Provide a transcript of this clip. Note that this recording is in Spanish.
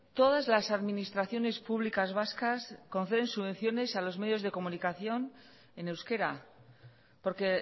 todas las administraciones públicas vascas conceden subvenciones a los medios de comunicación en euskera porque